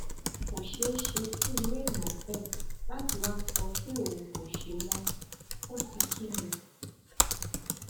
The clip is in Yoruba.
kò ṣeé ṣe fún irú èèyàn bẹẹ láti wàá sọ pé òun kò ṣe mọ fún ti kín ni